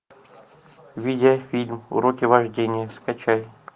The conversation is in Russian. видеофильм уроки вождения скачай